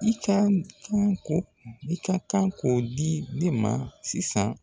I ka kan k'o i ka kan k'o di ne ma sisan